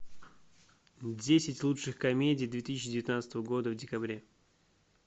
десять лучших комедий две тысячи девятнадцатого года в декабре